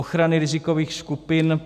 Ochrany rizikových skupin.